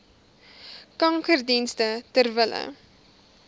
kankerdienste ter wille